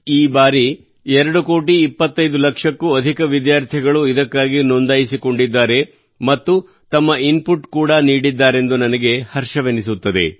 ಈ ಬಾರಿ ಎರಡು ಕೋಟಿ ಐವತ್ತು ಲಕ್ಷಕ್ಕೂ ಅಧಿಕ ವಿದ್ಯಾರ್ಥಿಗಳು ಇದಕ್ಕಾಗಿ ನೋಂದಾಯಿಸಿಕೊಂಡಿದ್ದಾರೆ ಮತ್ತು ತಮ್ಮ ಇನ್ಪುಟ್ ಕೂಡಾ ನೀಡಿದ್ದಾರೆಂದು ನನಗೆ ಹರ್ಷವೆನಿಸುತ್ತದೆ